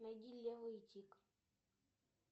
найди лео и тиг